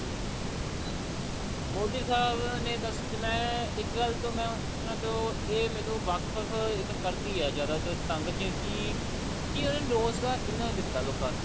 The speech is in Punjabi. ਮੋਦੀ ਸਾਹਿਬ ਨੇ ਮੈਂ ਇੱਕ ਗੱਲ ਤੋਂ ਉਹਨਾ ਤੋਂ ਇਹ ਮੈਨੂੰ ਵਾਕਫ ਇਹ ਮੈਨੂੰ ਕਰਦੀ ਆ ਜਿਆਦਾਤਰ ਤੰਗ ਕੇ ਕਿ ਉਹਨਾ ਨੇ ਰੋਜਗਾਰ ਇੰਨਾ ਨੀ ਦਿੱਤਾ ਲੋਕਾਂ ਨੂੰ